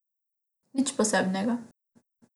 Nič posebnega!